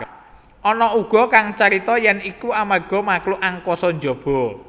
Ana uga kang carita yèn iku amarga makhluk angkasa jaba